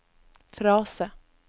frase